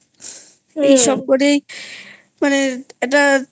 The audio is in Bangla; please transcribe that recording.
এইসব করেই মানে একটা